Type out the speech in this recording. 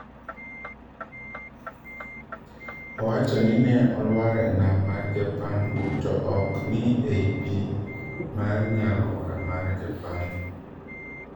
Owacho ni ne olwar enam mar Japan to ok ni ei pii mar nyaalwora mar japan